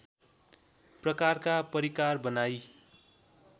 प्रकारका परिकार बनाई